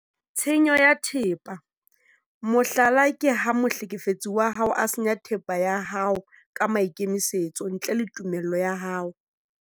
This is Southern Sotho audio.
Tshenyo ya thepa- mohlala ke ha mohlekefetsi wa hao a senya thepa ya hao ka maikemisetso ntle le tumello ya hao.